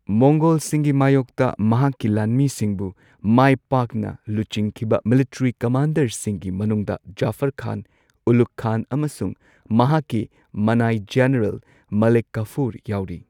ꯃꯣꯡꯒꯣꯜꯁꯤꯡꯒꯤ ꯃꯥꯢꯌꯣꯛꯇ ꯃꯍꯥꯛꯀꯤ ꯂꯥꯟꯃꯤꯁꯤꯡꯕꯨ ꯃꯥꯢ ꯄꯥꯛꯅ ꯂꯨꯆꯤꯡꯈꯤꯕ ꯃꯤꯂꯤꯇꯔꯤ ꯀꯃꯥꯟꯗꯔꯁꯤꯡꯒꯤ ꯃꯅꯨꯡꯗ ꯖꯐꯔ ꯈꯥꯟ, ꯎꯂꯨꯒ ꯈꯥꯟ ꯑꯃꯁꯨꯡ ꯃꯍꯥꯛꯀꯤ ꯃꯅꯥꯏ ꯖꯦꯅꯔꯦꯜ ꯃꯥꯂꯤꯛ ꯀꯥꯐꯨꯔ ꯌꯥꯎꯔꯤ꯫